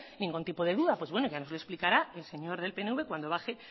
ningún tipo de duda pues bueno ya no los explicará el señor del pnv cuando baja